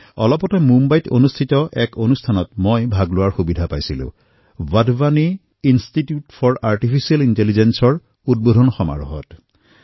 অলপতে মোৰ মুম্বাইৰ এক কাৰ্যক্ৰমত অংশগ্ৰহণ হোৱাৰ সৌভাগ্য হল ৱাধৱানী ইনষ্টিটিউট ফৰ আৰ্টিফিচিয়েল Intelligenceৰ মুকলি অনুষ্ঠানৰ